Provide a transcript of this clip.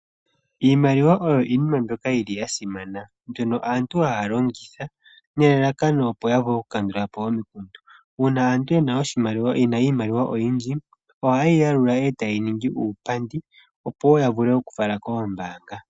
Iimaliwa oyo iinima mbyoka yi li ya simana, mbyono aantu ha ya longitha nelalakano opo ya vule okukandula po omikundu. Uuna aantu ye na iimaliwa oyindji, oha ye yi yalula e ta ye yi ningi uupandi opo wo ya vule okufala koombaanga.